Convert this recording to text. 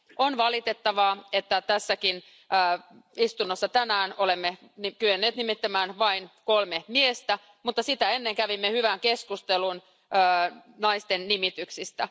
On valitettavaa, että tässäkin istunnossa tänään olemme kyenneet nimittämään vain kolme miestä, mutta sitä ennen kävimme hyvän keskustelun naisten nimityksistä.